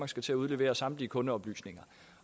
skal til at udlevere samtlige kundeoplysninger